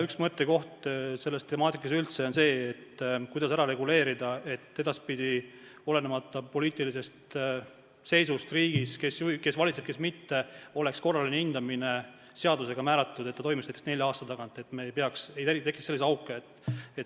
Üks mõttekohti selles temaatikas üldse on see, kuidas ära reguleerida, et edaspidi, olenemata poliitilisest seisust riigis, sellest, kes valitseb ja kes mitte, oleks seadusega määratud, et korraline hindamine toimuks näiteks nelja aasta tagant ega tekiks selliseid auke.